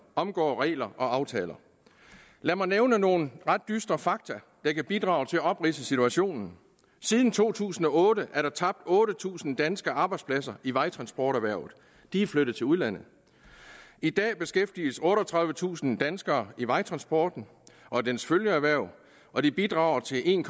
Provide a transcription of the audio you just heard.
omgår regler og aftaler lad mig nævne nogle ret dystre fakta der kan bidrage til at opridse situationen siden to tusind og otte er der tabt otte tusind danske arbejdspladser i vejtransporterhvervet de er flyttet til udlandet i dag beskæftiges otteogtredivetusind danskere i vejtransporten og dens følgeerhverv og de bidrager til en